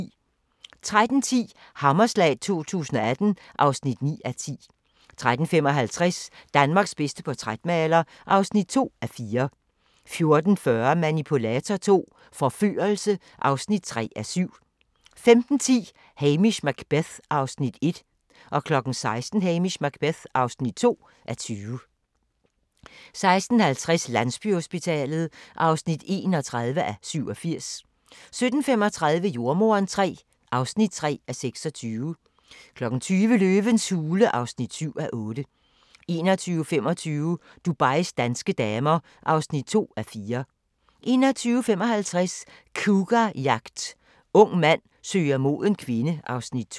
13:10: Hammerslag 2018 (9:10) 13:55: Danmarks bedste portrætmaler (2:4) 14:40: Manipulator II - forførelse (3:7) 15:10: Hamish Macbeth (1:20) 16:00: Hamish Macbeth (2:20) 16:50: Landsbyhospitalet (31:87) 17:35: Jordemoderen III (3:26) 20:00: Løvens hule (7:8) 21:25: Dubais danske damer (2:4) 21:55: Cougarjagt – ung mand søger moden kvinde (Afs. 2)